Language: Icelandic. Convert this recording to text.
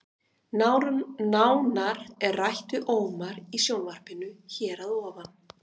Nánar er rætt við Ómar í sjónvarpinu hér að ofan.